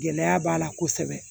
Gɛlɛya b'a la kosɛbɛ